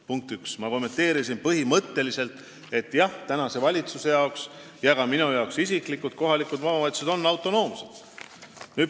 Punkt üks: ma kommenteerisin, et põhimõtteliselt on praeguse valitsuse ja ka minu jaoks isiklikult kohalikud omavalitsused autonoomsed.